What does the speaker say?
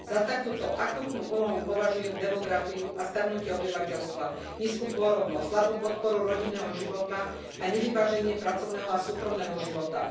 Za takúto akútnu úlohu považujem demografiu a starnutie obyvateľstva, nízku pôrodnosť, slabú podporu rodinného života a nevyváženie pracovného a súkromného života.